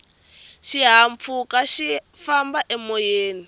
xihahampfhuka xi famba emoyeni